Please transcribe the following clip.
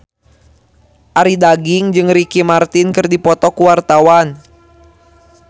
Arie Daginks jeung Ricky Martin keur dipoto ku wartawan